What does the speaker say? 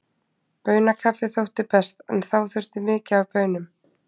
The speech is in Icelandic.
Baunakaffi þótti best, en þá þurfti mikið af baunum.